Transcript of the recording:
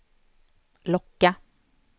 locka